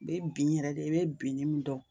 U be bin yɛrɛ de, i be binnin min dɔn